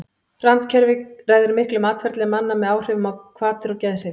randkerfið ræður miklu um atferli manna með áhrifum á hvatir og geðhrif